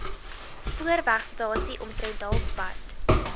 spoorwegstasie omtrent halfpad